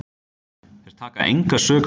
Þeir taka enga sök á sig.